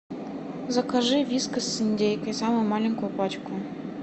закажи вискас с индейкой самую маленькую пачку